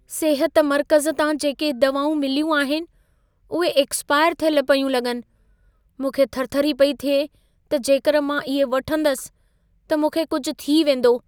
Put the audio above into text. सिहत मर्कज़ तां जेके दवाऊं मिलियूं आहिनि, उहे एक्स्पायर थियल पयूं लॻनि। मूंखे थरथरी पई थिए त जेकर मां इहे वठंदसि, त मूंखे कुझु थी वेंदो।